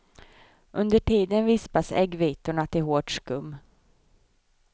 Under tiden vispas äggvitorna till hårt skum.